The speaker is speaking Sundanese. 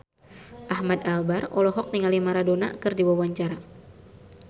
Ahmad Albar olohok ningali Maradona keur diwawancara